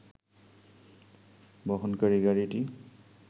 বহনকারী গাড়িটি